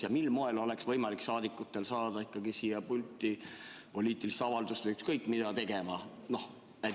Ja mil moel oleks võimalik rahvasaadikutel saada ikkagi siia pulti poliitilist avaldust või ükskõik mida tegema?